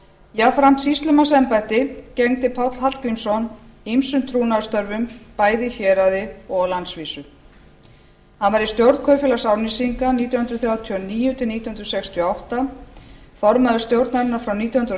jafnframt sýslumannsembætti gegndi páll hallgrímsson ýmsum trúnaðarstörfum bæði í héraði og á landsvísu hann var í stjórn kaupfélags árnesinga nítján hundruð þrjátíu og níu til nítján hundruð sextíu og átta formaður stjórnarinnar frá nítján hundruð